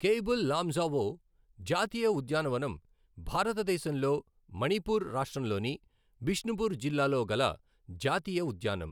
కేయ్బుల్ లామ్జావో జాతీయ ఉద్యానవనం భారతదేశంలో మణిపూర్ రాష్ట్రంలోని బిష్ణుపూర్ జిల్లాలో గల జాతీయ ఉద్యానం.